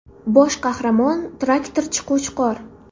Bosh qahramon traktorchi Qo‘chqor.